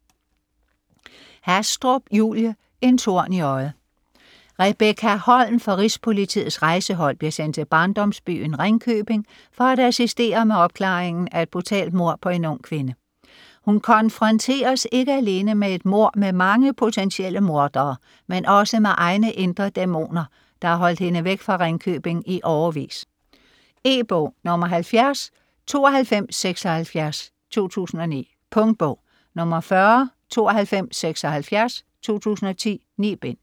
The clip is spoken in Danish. Hastrup, Julie: En torn i øjet Rebekka Holm fra Rigspolitiets Rejsehold bliver sendt til barndomsbyen Ringkøbing for at assistere med opklaringen af et brutalt mord på en ung kvinde. Hun konfronteres ikke alene med et mord med mange potentielle mordere, men også med egne indre dæmoner, der har holdt hende væk fra Ringkøbing i årevis. E-bog 709276 2009. Punktbog 409276 2010. 9 bind.